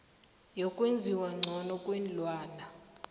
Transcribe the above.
yokwenziwa ngcono kweenlwana